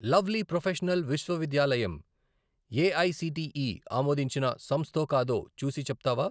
Lovely Professional విశ్వవిద్యాలయంఏఐసిటిఈ ఆమోదించిన సంస్థో కాదో చూసి చెప్తావా?